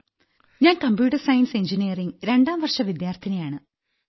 ഞാൻ computer science engineering 2ാം വർഷ വിദ്യാർത്ഥിനിയാണ്